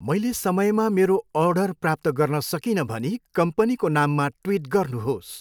मैले समयमा मेरो अर्डर प्राप्त गर्न सकिनँ भनी कम्पनीको नाममा ट्विट गर्नुहोस्।